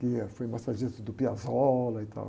Que, eh, foi massagista do Piazzolla e tal.